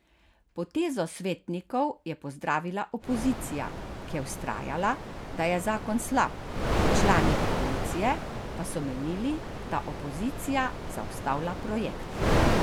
Potezo svetnikov je pozdravila opozicija, ki je vztrajala, da je zakon slab, člani koalicije pa so menili, da opozicija zaustavlja projekt.